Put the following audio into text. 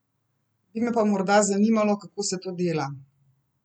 Bi me pa morda zanimalo, kako se to dela.